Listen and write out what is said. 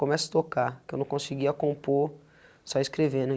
Comece a tocar, que eu não conseguia compor, só escrevendo. E